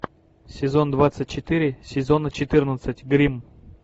сезон двадцать четыре сезона четырнадцать гримм